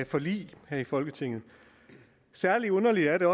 forlig her i folketinget særlig underligt er det